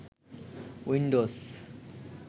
Windows